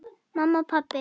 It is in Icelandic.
Mamma og pabbi.